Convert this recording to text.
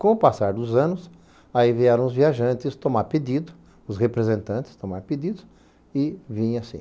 Com o passar dos anos, aí vieram os viajantes tomar pedido, os representantes tomar pedido, e vinha sim.